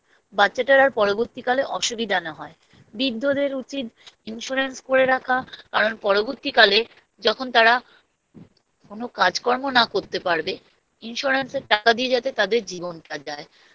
বাচ্চাটার আর পরবর্তীকালে অসুবিধা না হয় বৃদ্ধদের উচিৎ Insurance করে রাখা কারণ পরবর্তীকালে যখন তারা কোনো কাজকর্ম না করতে পারবে Insurance এর টাকা দিয়ে যাতে তাদের জীবনটা যায়